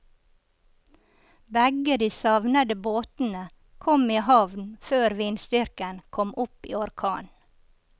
Begge de savnede båtene kom i havn før vindstyrken kom opp i orkan.